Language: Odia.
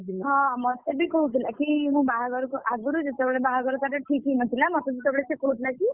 ହଁ ମତେ ବି କହୁଥିଲା କି ମୁଁ ବାହାଘରକୁ ଆଗରୁ ଯେତେବେଳେ ତା ବାହାଘର ଠିକ୍ ହେଇ ନ ଥିଲା ମତେ ସେତେବେଳେ କହୁଥିଲା କି?